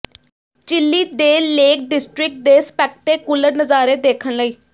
chilli ਦੇ lake district ਦੇ spectacular ਨਜ਼ਾਰੇ ਦੇਖਣ ਲਈ